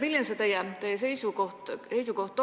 Milline teie seisukoht on?